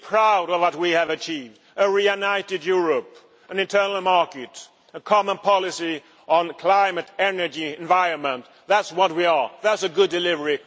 Be proud of what we have achieved, a reunited Europe, an internal market, a common policy on climate, energy, and the environment that is what we are, that is a good delivery.